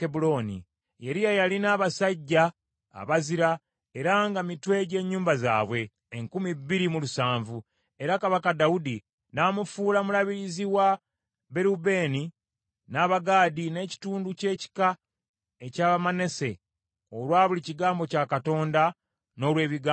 Yeriya yalina abasajja abazira era nga mitwe gy’ennyumba zaabwe, enkumi bbiri mu lusanvu, era kabaka Dawudi n’amufuula mulabirizi wa Balewubeeni, n’Abagaadi, n’ekitundu ky’ekika eky’Abamanase, olwa buli kigambo kya Katonda, n’olw’ebigambo bya kabaka.